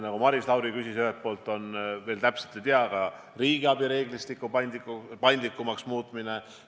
Nagu Maris Lauri küsis, on selleks ühelt poolt, veel täpselt ei tea, aga riigiabi reeglistiku paindlikumaks muutmine.